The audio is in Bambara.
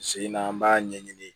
Sen na an b'a ɲɛɲini